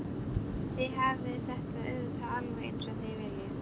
Þið hafið þetta auðvitað alveg eins og þið viljið.